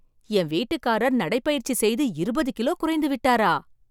என் வீட்டுக்காரர் நடைபயிற்சி செய்து இருபது கிலோ குறைத்துவிட்டாரா!